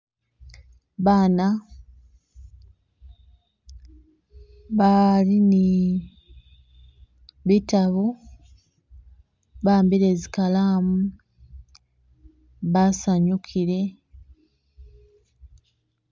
Baana bali ni bitabu bahambile zikalamu basanyukile